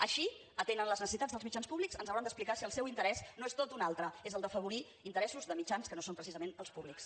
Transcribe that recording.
així atenen les necessitats dels mitjans públics ens hauran d’explicar si el seu interès no és tot un altre és el d’afavorir interessos de mitjans que no són precisament els públics